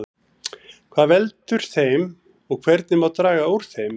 Hvað veldur þeim og hvernig má draga úr þeim?